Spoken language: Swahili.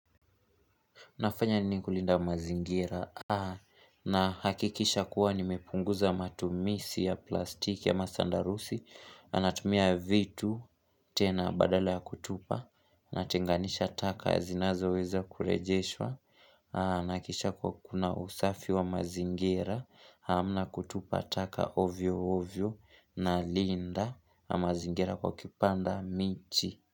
Unafanya nini kulinda mazingira nahakikisha kuwa nimepunguza matumizi ya plastiki ama sandarusi, na natumia vitu tena badale ya kutupa, natenganisha taka zinazoweza kurejeshwa, nahakikisha kuwa kuna usafi wa mazingira, hamna kutupa taka ovyo ovyo nalinda mazingira kwa kupanda michi.